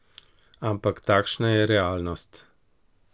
Ampak takšna je realnost.